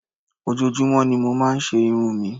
Ojoojúmọ́ ni mo máa ń se irun mi